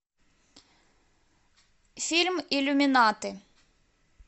фильм иллюминаты